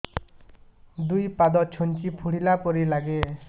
ଦୁଇ ପାଦ ଛୁଞ୍ଚି ଫୁଡିଲା ପରି ଲାଗେ